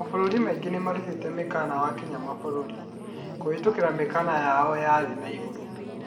mabũrũri mangĩ nimarutĩta mĩkana wakinya mabũrũri ,kuhĩtuka mĩhaka yao thĩĩ na igũrũ